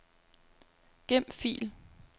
Gem fil.